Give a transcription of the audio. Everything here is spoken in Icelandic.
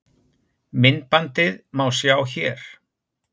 Myndbandið má sjá hér